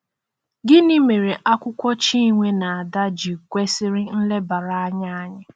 Gịnị mere akwụkwọ Chinwe na Ada ji kwesịrị nlebara anya anyị?